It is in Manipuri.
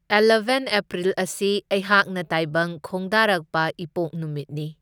ꯑꯦꯜꯂꯕꯦꯟ ꯑꯦꯄ꯭ꯔꯤꯜ ꯑꯁꯤ ꯑꯩꯍꯥꯛꯅ ꯇꯥꯏꯕꯪ ꯈꯣꯡꯗꯥꯔꯛꯄ ꯏꯄꯣꯛ ꯅꯨꯃꯤꯠꯅꯤ꯫